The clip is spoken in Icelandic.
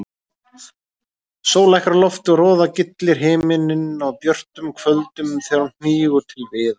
Sól lækkar á lofti og roðagyllir himininn á björtum kvöldum þegar hún hnígur til viðar.